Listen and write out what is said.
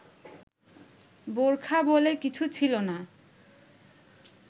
বোরখা বলে কিছু ছিল না